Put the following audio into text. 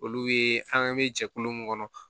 Olu ye an bɛ jɛkulu mun kɔnɔ